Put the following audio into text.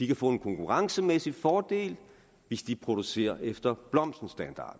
kan få en konkurrencemæssig fordel hvis de producerer efter standarden med blomsten